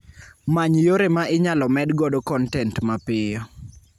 Many yore ma inyalo med godo kontent mapiyo